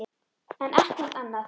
en ekkert annað.